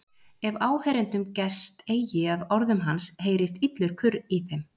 Ef áheyrendum gest eigi að orðum hans heyrist illur kurr í þeim.